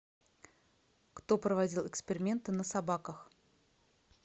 кто проводил эксперименты на собаках